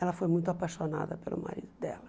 Ela foi muito apaixonada pelo marido dela.